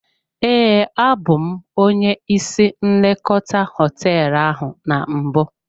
Ee, abụ m onye ịsị nlekọta hoteelu a na mbụ.